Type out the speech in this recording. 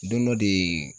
Don dɔ de